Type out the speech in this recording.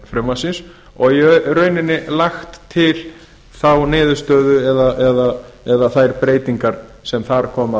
frumvarpsins og í rauninni lagt til þá niðurstöðu eða þær breytingar sem þar koma